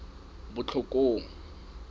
botlhokong